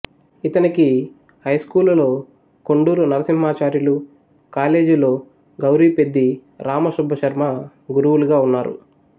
ఇతనికి హైస్కూలులో కొండూరు నరసింహాచార్యులు కాలేజీలో గౌరిపెద్ది రామసుబ్బశర్మ గురువులుగా ఉన్నారు